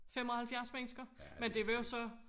75 mennesker men det var jo så